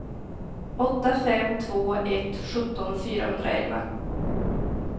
åtta fem två ett sjutton fyrahundraelva